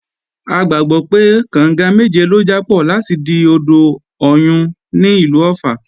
A gbàgbọ́ pé, kànga méje ló jápọ̀ láti di odò Ọ̀yun ní ìlú Ọ̀ffà